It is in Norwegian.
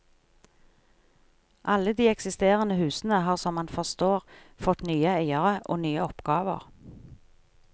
Alle de eksisterende husene har som man forstår fått nye eiere og nye oppgaver.